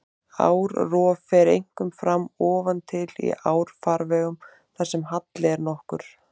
Árrof fer einkum fram ofan til í árfarvegum þar sem halli er nokkur.